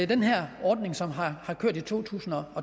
den her ordning som har kørt i to tusind og